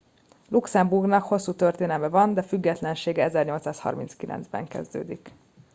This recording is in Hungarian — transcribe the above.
luxemburgnak hosszú történelme van de függetlensége 1839 ban kezdődik